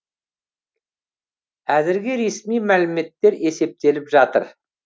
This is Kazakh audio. әзірге ресми мәліметтер есептеліп жатыр